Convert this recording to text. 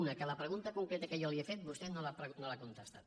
una que la pregunta concreta que jo li he fet vostè no l’ha contestat